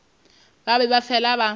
ba be ba fele ba